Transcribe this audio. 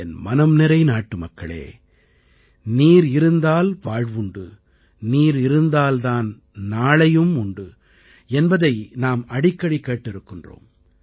என் மனம்நிறை நாட்டுமக்களே நீர் இருந்தால் வாழ்வுண்டு நீர் இருந்தால் தான் நாளையுண்டு என்பதை நாம் அடிக்கடி கேட்டிருக்கிறோம்